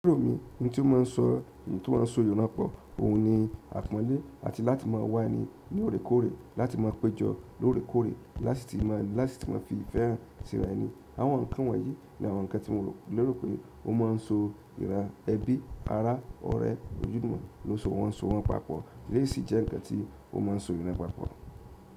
Lero mí ohun tí ó máà ń sọ, ohun tí wón máa ń sọ eyan pọ̀, òun ni àpọ́nlé àti láti máa wá ẹni ní loòrékoórè, láti máa péjọ lóorèkóorè, lasi ti máa fi ìfẹ́ hàn síra ẹni. Àwọn nkan won yìí, ni àwọn nkan ti mo lero pe o maa n so iran ebi, ara, ọ̀rẹ́, ojulumo lo so won papọ̀ eleyi sì jẹ́ nǹkan tí ó máa ń sọ iran papọ̀.